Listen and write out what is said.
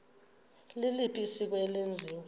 liliphi isiko eselenziwe